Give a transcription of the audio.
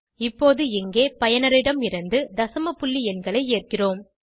இப்போது இங்கே பயனரிடம் இருந்து தசம புள்ளி எண்களை ஏற்கிறோம்